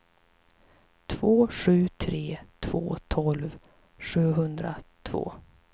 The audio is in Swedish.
två sju tre två tolv sjuhundratvå